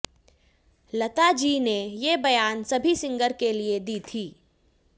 लता जी ने ये बयान सभी सिंगर के लिए दी थी